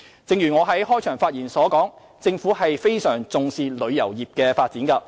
正如我在開場發言指出，政府十分重視旅遊業的發展。